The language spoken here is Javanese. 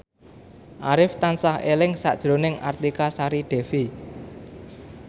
Arif tansah eling sakjroning Artika Sari Devi